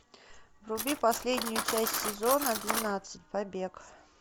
вруби последнюю часть сезона двенадцать побег